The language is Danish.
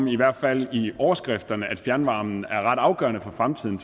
i hvert fald i overskrifter om at fjernvarmen er ret afgørende for fremtiden